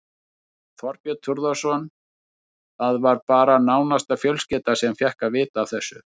Þorbjörn Þórðarson: Það var bara nánasta fjölskylda sem fékk að vita af þessu?